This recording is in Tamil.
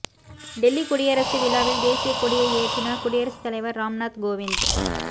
டெல்லி குடியரசு விழாவில் தேசியக் கொடியை ஏற்றினார் குடியரசுத் தலைவர் ராம்நாத் கோவிந்த்